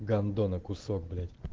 гандона кусок блять